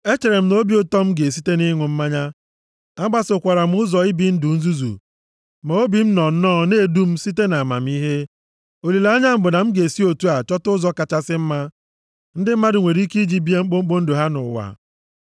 Echere m nʼobi ụtọ m ga-esite nʼịṅụ mmanya. Agbasokwara m ụzọ ibi ndụ nzuzu ma obi m nọ nnọọ na-edu m site nʼamamihe. Olileanya m bụ na m ga-esi otu a chọta ụzọ kachasị mma ndị mmadụ nwere ike iji bie mkpụmkpụ ndụ ha nʼụwa.